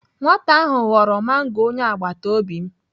Nwata ahụ ghọrọ mango onye agbataobi m.